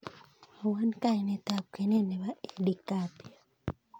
Mwowon kainet ab kwenet nebo edie gathie